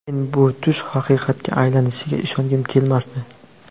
Men bu tush haqiqatga aylanishiga ishongim kelmasdi.